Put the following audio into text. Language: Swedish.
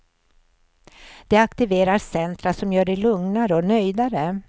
De aktiverar centra som gör dig lugnare och nöjdare.